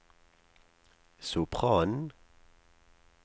sopranen